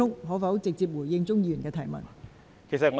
可否直接回答鍾議員的問題？